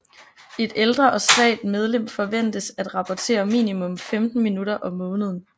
Et ældre og svagt medlem forventes at rapportere minimum 15 minutter om måneden